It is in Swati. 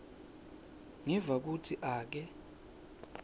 ngiva kutsi ake